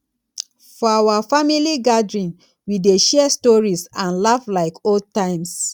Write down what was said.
for our family gathering we dey share stories and laugh like old times